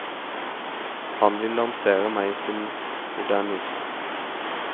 Han ville lansere meg som modernist.